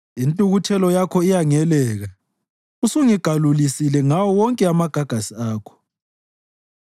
Intukuthelo yakho iyangeleka; usungigalulisile ngawo wonke amagagasi akho.